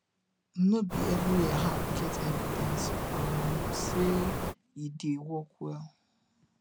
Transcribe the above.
no be every herb get evidence um sey e dey work well